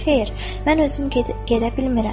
Xeyr, mən özüm gedə bilmirəm.